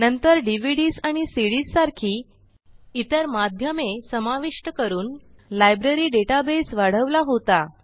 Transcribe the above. नंतर डीव्हीडीएस आणि सीडीएस सारखी इतर माध्यमे समाविष्ट करून लायब्ररी डेटाबेस वाढवला होता